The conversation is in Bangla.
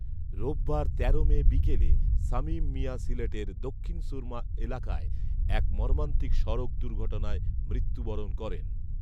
রোববার তেরো মে বিকেলে শামিম মিয়া সিলেটের দক্ষিণ সুরমা এলাকায় এক মর্মান্তিক সড়ক দুর্ঘটনায় মৃত্যুবরণ করেন